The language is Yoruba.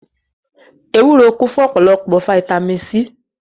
Ewúro kún fún ọ̀pọ̀lọpọ̀ fataímìn C.